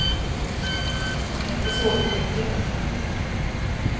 Hon har inte sovit mycket i natt.